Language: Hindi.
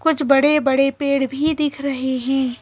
कुछ बड़े बड़े पेड़ भी दिख रहे हैं।